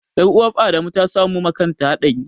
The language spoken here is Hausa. Ƴar'uwaf Adamu ta samu makanta haɗari.